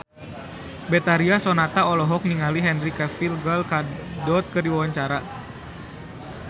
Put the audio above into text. Betharia Sonata olohok ningali Henry Cavill Gal Gadot keur diwawancara